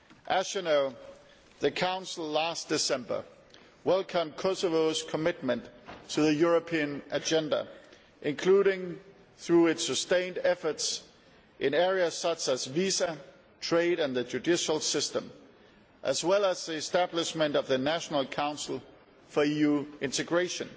As you know, last December the Council welcomed Kosovo's commitment to the European agenda, including through its sustained efforts in areas such as visas, trade and the judicial system, as well as the establishment of the National Council for European Integration.